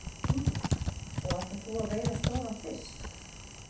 Sindri: Og ætlar þú að veiða stóran fisk?